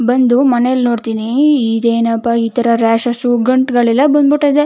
ಬಂದು ಮನೇಲಿ ನೋಡ್ತೀನಿ ಇದೇನಪ್ಪ ಈ ತರ ರಾಷೆಸ್ ಗಂಟುಗಳೆಲ್ಲ ಬಂದು ಬಿಟ್ಟಾದೆ.